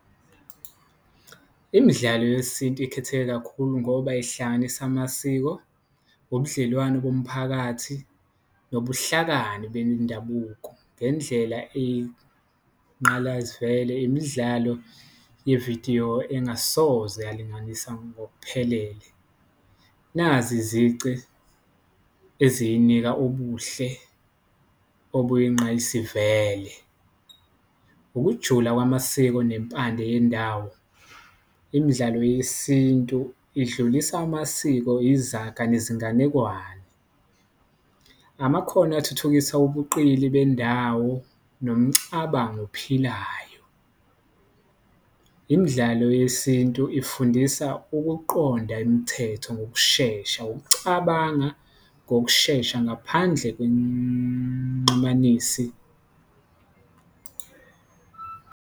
Imidlalo yesintu ikhetheke kakhulu ngoba ihlanganisa amasiko, ubudlelwano bomphakathi, nobuhlakani bendabuko ngendlela obuyinqayizivele, imidlalo yevidiyo engasoze yalinganisa ngokuphelele, nazi izici eziyinika ubuhle obuyinqayizivele, ukujula kwamasiko nempande yendawo. Imidlalo yesintu idlulisa amasiko, izaga nezinganekwane, amakhono athuthukisa ubuqili bendawo nomcabango ophilayo, imidlalo yesintu ifundisa ukuqonda imithetho ngokushesha, ukucabanga ngokushesha ngaphandle .